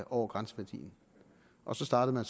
over grænseværdierne og så startede man